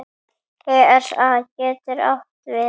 ESA getur átt við